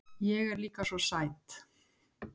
Ég er líka svo sæt.